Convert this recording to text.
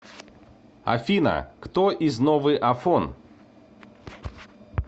афина кто из новый афон